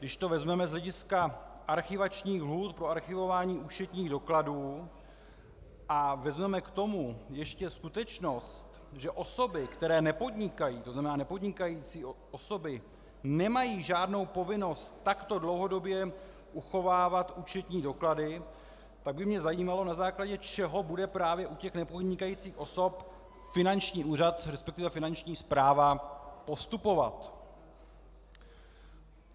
Když to vezmeme z hlediska archivačních lhůt pro archivování účetních dokladů a vezmeme k tomu ještě skutečnost, že osoby, které nepodnikají, to znamená nepodnikající osoby, nemají žádnou povinnost takto dlouhodobě uchovávat účetní doklady, pak by mě zajímalo, na základě čeho bude právě u těch nepodnikajících osob finanční úřad, respektive finanční správa postupovat.